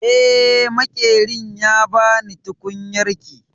Eh, Maƙerin ya ba ni tukunyarki